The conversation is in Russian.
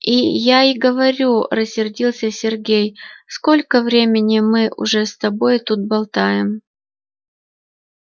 и я и говорю рассердился сергей сколько времени мы уже с тобой тут болтаем